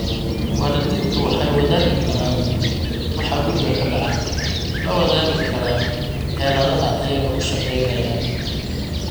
Waalidiintu waxay wadaagi karaan waxa guriga ka dhacaya, la wadaagi kara xeeladaha iyaga u shaqaynaya.